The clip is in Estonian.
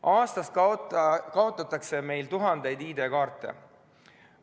Aastas kaotatakse meil tuhandeid ID-kaarte.